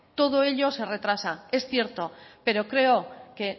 todo ello se retrasa es cierto pero creo que